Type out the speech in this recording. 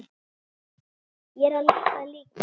Ég er það líka.